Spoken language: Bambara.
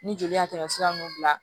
Ni joli y'a tɛmɛsira nunnu bila